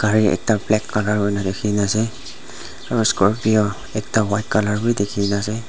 gari ekta black colour kurina ase aro scorpio ekta white colour bi dikhina ase.